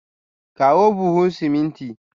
Kawo buhu siminti.